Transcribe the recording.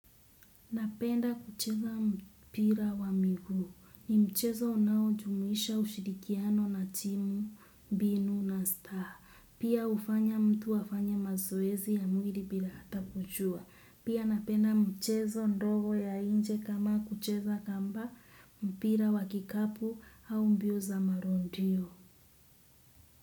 Napenda kucheza mpira wa miguu. Ni mchezo unaojumuisha ushirikiano na timu, mbinu na staha. Pia hufanya mtu afanye mazoezi ya mwili bila hata kujua. Pia napenda mchezo ndogo ya nje kama kucheza kamba mpira wa kikapu au mbio za marudio.